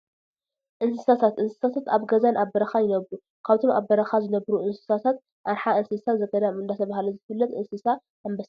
እንስሳታት፡- እንስሳታት ኣብ ገዛን ኣብ በረኻን ይነብሩ፡፡ ካብቶም ኣብ በረኻ ዝነብሩ እንስሳታት ኣርሓ እንስሳ ዘገዳም እንዳተባህለ ዝፍለጥ እንስሳ ኣንበሳ እዩ፡፡